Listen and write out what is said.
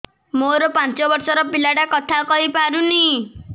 ମୋର ପାଞ୍ଚ ଵର୍ଷ ର ପିଲା ଟା କଥା କହି ପାରୁନି